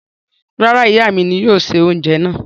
Rárá, ìyà mi ní yóò ṣẹ̀ ọunjẹ náà.